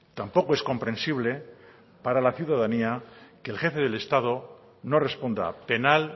tampoco es comprensible para la ciudadanía que el jefe del estado no responda penal